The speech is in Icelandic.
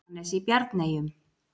Jóhannes í Bjarneyjum.